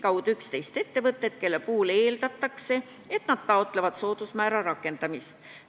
Vastus: 11 ettevõtte puhul eeldatakse, et nad taotlevad soodusmäära rakendamist.